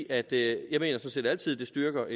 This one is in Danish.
at det altid styrker